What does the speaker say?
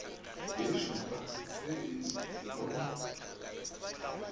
ye šupa se e no